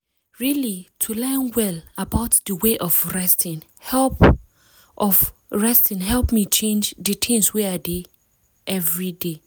really to learn well about d way of resting help of resting help me change d things wey i dey everyday.